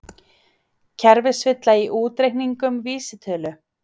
Kerfisvilla í útreikningum vísitölu